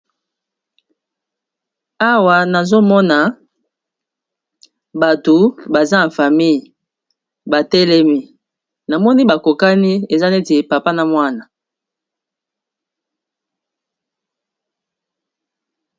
awa nazomona bato baza na famille batelemi na moni bakokani eza neti epapa na mwana